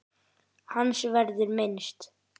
Hans verður minnst.